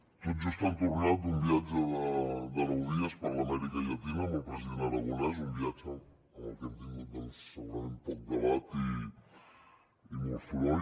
tot just han tornat d’un viatge de nou dies per l’amèrica llatina amb el president aragonès un viatge del que hem tingut segurament poc debat i molt soroll